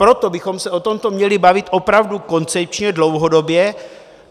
Proto bychom se o tomto měli bavit opravdu koncepčně, dlouhodobě.